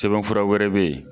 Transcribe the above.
Sɛbɛnfura wɛrɛ bɛ yen.